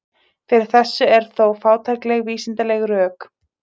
Fyrir þessu eru þó fátækleg vísindaleg rök.